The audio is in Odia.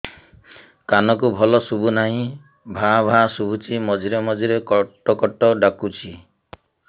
କାନକୁ ଭଲ ଶୁଭୁ ନାହିଁ ଭାଆ ଭାଆ ଶୁଭୁଚି ମଝିରେ ମଝିରେ କଟ କଟ ଡାକୁଚି